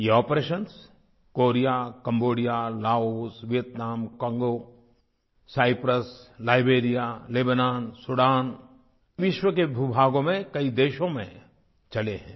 ये operations Korea Cambodia Laos Vietnam Congo Cyprus Liberia Lebanon Sudan विश्व के भूभागों में कई देशों में चले हैं